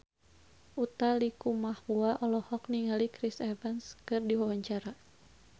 Utha Likumahua olohok ningali Chris Evans keur diwawancara